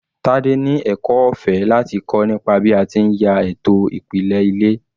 Tade ni ẹ̀kọ́ ọ̀fẹ́ láti kọ́ nípa bí a ti ń ya ètò ìpìlẹ̀ ilé.